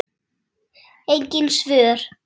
Engin svör.